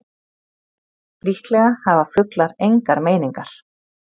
Líklega hafa fuglar engar meiningar.